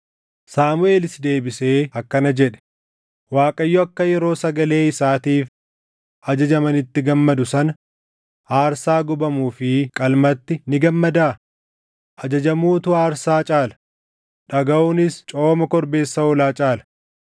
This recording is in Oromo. Saamuʼeelis deebisee akkana jedhe: “ Waaqayyo akka yeroo sagalee isaatiif ajajamanitti gammadu sana, aarsaa gubamuu fi qalmatti ni gammadaa? Ajajamuutu aarsaa caala; dhagaʼuunis cooma korbeessa hoolaa caala.